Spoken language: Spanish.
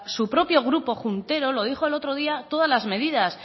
su propio grupo juntero lo dijo el otro día todas las medidas